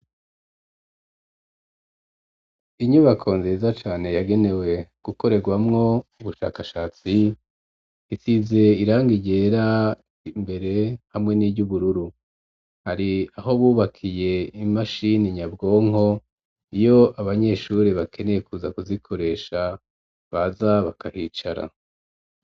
Inyubako nziza cane yagenewe gukoregwamwo ubushakashatsi, isize irangi ryera imbere hamwe n'iry'ubururu, hari aho bubakiye imashini nyabwonko ,iyo abanyeshuri bakeneye kuza kuzikoresha baza bakahicara.